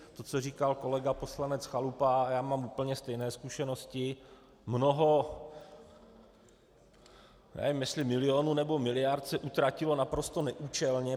To, co říkal kolega poslanec Chalupa, a já mám úplně stejné zkušenosti, mnoho - nevím, jestli milionů nebo miliard - se utratilo naprosto neúčelně.